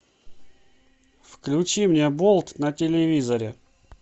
включи мне болт на телевизоре